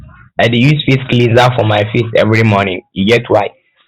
i dey use face cleanser for my face every morning e get why